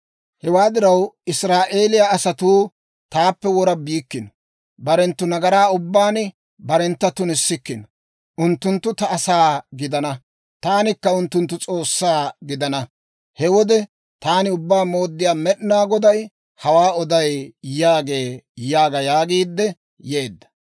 Hewaa diraw, Israa'eeliyaa asatuu taappe wora biikkino; barenttu nagaran ubbaan barentta tunissikkino. Unttunttu ta asaa gidana; taanikka unttunttu S'oossaa gidana. He wode taani Ubbaa Mooddiyaa Med'inaa Goday hawaa oday» yaagee› yaaga» yaagiidde yeedda.